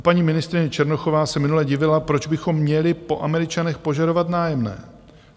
Paní ministryně Černochová se minule divila, proč bychom měli po Američanech požadovat nájemné.